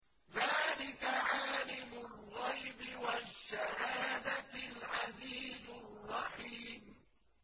ذَٰلِكَ عَالِمُ الْغَيْبِ وَالشَّهَادَةِ الْعَزِيزُ الرَّحِيمُ